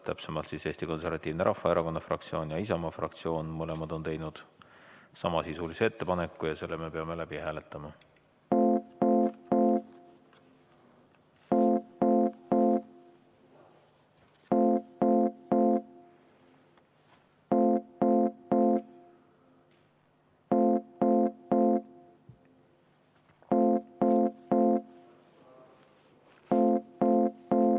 Täpsemalt siis Eesti Konservatiivse Rahvaerakonna fraktsioon ja Isamaa fraktsioon on mõlemad teinud samasisulise ettepaneku ja selle me peame läbi hääletama.